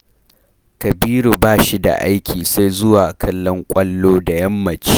Kabiru ba shi da aiki sai zuwa kallon ƙwallo da yammaci